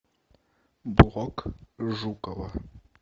блог жукова